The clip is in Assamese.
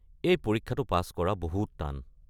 এই পৰীক্ষাটো পাছ কৰা বহুত টান।